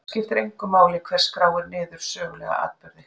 Skiptir engu máli hver skráir niður sögulega atburði?